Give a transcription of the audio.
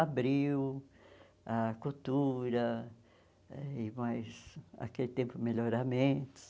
Abril, ah Cultura, e mais, naquele tempo, Melhoramentos.